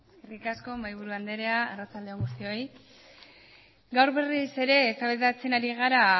eskerrik asko mahaiburu andrea arratsalde on guztioi gaur berriz ere eztabaidatzen ari gara